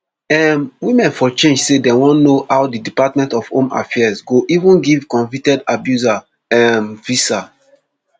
um women for change say dem wan know how di department of home affairs go even give convicted abuser um visa